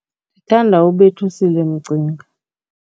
Ndithanda uBetusile Mcinga.